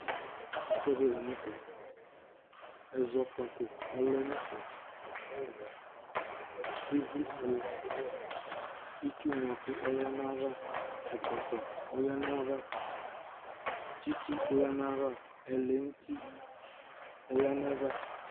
Ɛfʋɛdɩ la nʋ tɛ: ɛzɔkpako ɔlɛ nɛfɛ, ɩvlɩ fue dɩ, itsu ŋlo ɛkʋ ɔlɛ nayava ,ɛkɔtɔ ɔlɛ nayava ,tsɩtsɩ ɔlɛ nayava, ɛlɛnuti oyǝ nayava